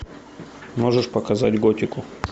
можешь показать готику